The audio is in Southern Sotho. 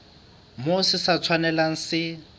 moo se sa tshwanelang se